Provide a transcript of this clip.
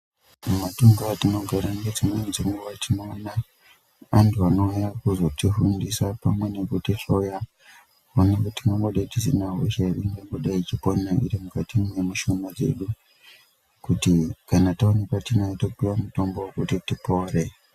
Mukati mwemitunhu yatinogara ngedzimweni dzenguwa tinoona antu vanouya kuzotifundisa pamwe nekutihloya kuona kuti tingadayi tisina hosha ere iri kupona iri mukati mwemishuna yedu kuti kana taonekwa tinayo topuwe mitombo yekuti tipore.